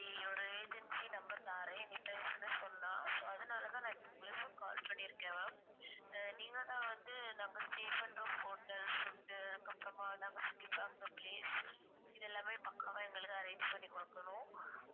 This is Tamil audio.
ஒரு agency number தாறேன் நீ பேசுன்னு சொன்னா so அதுனால தான் நா இப்போ உங்களுக்கு call பண்ணிருக்கேன் ma'am ஆஹ் நீங்க தான் வந்து நாங்க stay பண்ற hotel food உ அதுக்கு அப்புறமா நாங்க சுத்தி பாக்ர place இது எல்லாமே பக்காவா எங்களுக்கு arrange பண்ணி குடுக்கணும்